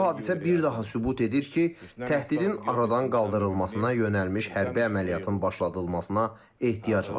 Bu hadisə bir daha sübut edir ki, təhdidin aradan qaldırılmasına yönəlmiş hərbi əməliyyatın başladılmasına ehtiyac var.